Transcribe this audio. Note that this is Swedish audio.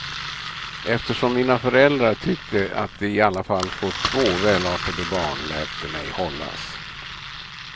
Eftersom mina föräldrar tyckte att de i alla fall fått två välartade barn lät de mig hållas.